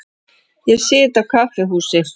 Ég sit á kaffihúsi.